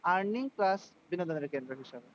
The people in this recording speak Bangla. Earning plus বিনোদনের কেন্দ্র হিসেবে।